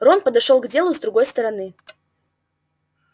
рон подошёл к делу с другой стороны